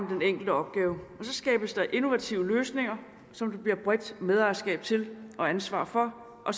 den enkelte opgave så skabes der innovative løsninger som der bliver bredt medejerskab til og ansvar for og